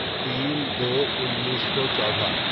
تین دو انیسو چودہ